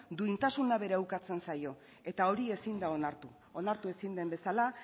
duintasuna bera ukatzen zaio eta hori ezin da onartu onartu ezin den bezala